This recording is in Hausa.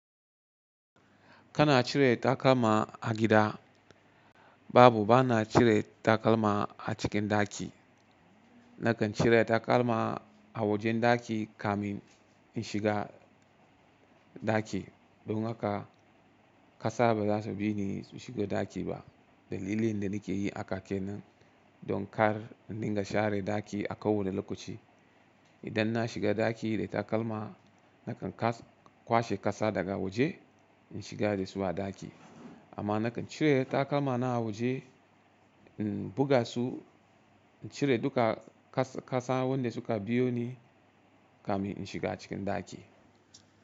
Kana cire takalma a gida. Babu, bana cire takalma a cikin ɗaki. Nakan cire takalma a wajen ɗaki kamin in shiga ɗaki. Don haka ƙasa ba za su bi ni su shigo ɗaki ba. Dalilin da nake yin haka kenan don kar in dinga share ɗaki a kowane lokaci. Idan na shiga ɗaki da takalma, nakan kwashe ƙasa daga waje in shiga da su a ɗaki. Amma nakan cire takalma na a waje, in buga su, in cire duka ƙasa wanda suka biyo ni kamin in shiga cikin ɗaki.